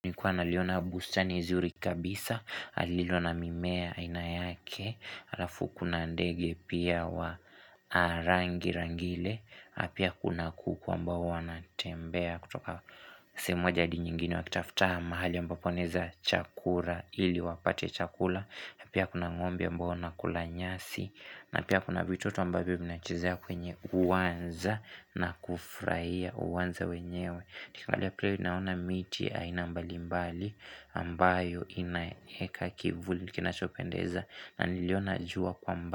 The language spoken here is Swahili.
Nlikuwa naliona bustani zuri kabisa, lililo na mimea ainayake, alafu kuna ndege pia wa rangi rangile, pia kuna kuku ambao wanatembea kutoka sehemu moja adi nyingine wakitafta mahali ambapo waeneza chakura ili wapate chakula, na pia kuna ng'ombe ambao wana kula nyasi, na pia kuna vitoto ambavyo vina chezea kwenye uwanja na kufraia uwanja wenyewe. Nikangalia pale naona miti aina mbali mbali ambayo inaheka kivuli kinachopendeza na niliona jua kwa mbali.